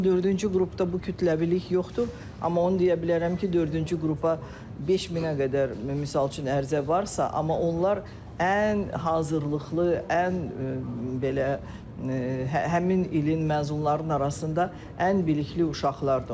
Misal üçün dördüncü qrupda bu kütləvilik yoxdur, amma onu deyə bilərəm ki, dördüncü qrupa 5000-ə qədər misal üçün ərizə varsa, amma onlar ən hazırlıqlı, ən belə həmin ilin məzunlarının arasında ən bilikli uşaqlardır.